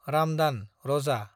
रामदान (रोजा)